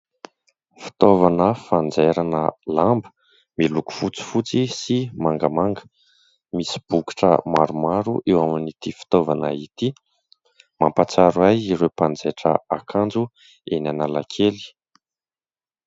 Fitaovana fanjairana lamba miloko fotsifotsy sy mangamanga. Misy bokotra maromaro eo amin'ity fitaovana ity, mampahatsiaro ahy ireo manjaitra akanjo eo Analakely.